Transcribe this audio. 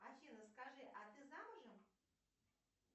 афина скажи а ты замужем